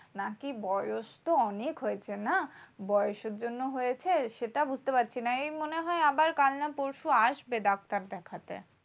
নাকি বয়স তো অনেক হয়েছে না? বয়সের জন্য হয়েছে? সেটা বুঝতে পারছি না। এই মনে হয় কাল না পরশু আসবে ডাক্তার দেখাতে।